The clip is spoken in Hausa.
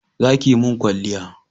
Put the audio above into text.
Za ki mun kwalliya